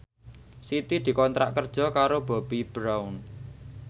Siti dikontrak kerja karo Bobbi Brown